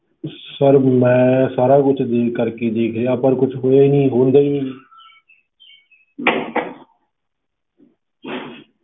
Sir ਮੈਂ ਸਾਰਾ ਕੁਛ ਦੇਖ ਕਰਕੇ ਦੇਖ ਲਿਆ, ਪਰ ਕੁਛ ਹੋਇਆ ਹੀ ਨੀ, ਹੁੰਦਾ ਹੀ ਨੀ ਜੀ